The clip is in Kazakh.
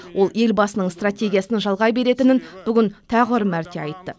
ол елбасының стратегиясын жалғай беретінін бүгін тағы бір мәрте айтты